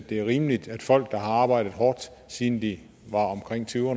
det er rimeligt at folk der har arbejdet hårdt siden de var omkring tyve år